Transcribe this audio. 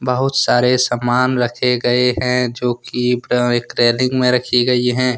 बहुत सारे सामान रखे गए हैं जो की प्र एक टैलिंग में रखी गई हैं।